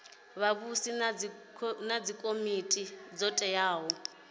vhavhusi na dzikomiti dzo teaho